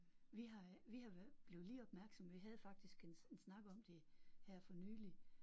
Vi har vi har blev lige opmærksomme vi havde faktisk en en snak om det her for nyligt